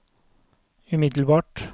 umiddelbart